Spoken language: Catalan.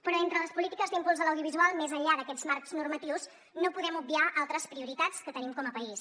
però entre les polítiques d’impuls de l’audiovisual més enllà d’aquests marcs normatius no podem obviar altres prioritats que tenim com a país